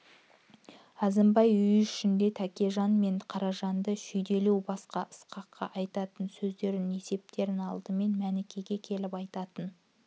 әзімбай үй ішінде тәкежан мен қаражанды шүйлеуден басқа ысқаққа айтатын сөздерін есептерін алдымен мәнікеге келіп айтатын